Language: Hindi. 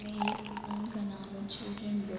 में एक दुकान का नाम है चिल्ड्रेन बुक --